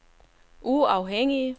uafhængige